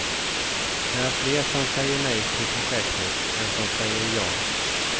Det är fler som säger nej till projektet än som säger ja.